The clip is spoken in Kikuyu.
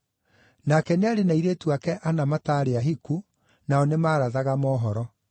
Nake nĩarĩ na airĩtu aake ana matarĩ ahiku, nao nĩmarathaga mohoro.